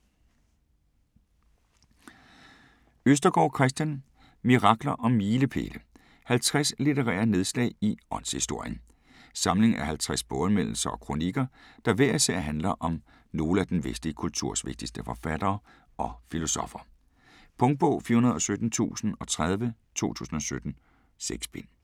Østergaard, Kristian: Mirakler og milepæle: 50 litterære nedslag i åndshistorien Samling af 50 boganmeldelser og kronikker, der hver især handler om nogle af den vestlige kulturs vigtigste forfattere og filosoffer. Punktbog 417030 2017. 6 bind.